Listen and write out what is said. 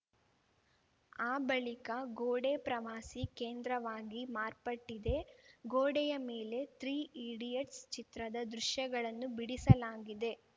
ಆ ಬಳಿಕ ಗೋಡೆ ಪ್ರವಾಸಿ ಕೇಂದ್ರವಾಗಿ ಮಾರ್ಪಟ್ಟಿದೆ ಗೋಡೆಯ ಮೇಲೆ ತ್ರೀ ಈಡಿಯಟ್ಸ್‌ ಚಿತ್ರದ ದೃಶ್ಯಗಳನ್ನು ಬಿಡಿಸಲಾಗಿದೆ